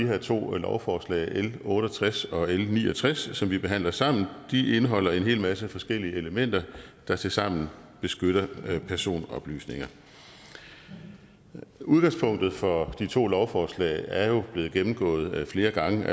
her to lovforslag l otte og tres og l ni og tres som vi behandler sammen de indeholder en hel masse forskellige elementer der tilsammen beskytter personoplysninger udgangspunktet for de to lovforslag er jo blevet gennemgået flere gange